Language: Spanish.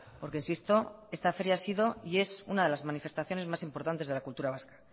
porque insisto esta feria ha sido y es una de las manifestaciones más importantes de la cultura vasca